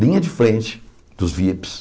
Linha de frente dos Vips.